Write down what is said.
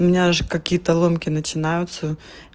у меня же какие-то ломки начинаются